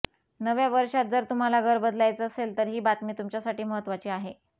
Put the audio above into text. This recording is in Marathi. नव्या वर्षात जर तुम्हाला घर बदलायचं असेल तर ही बातमी तुमच्यासाठी महत्त्वाची आहे